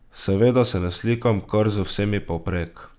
Seveda se ne slikam kar z vsemi povprek.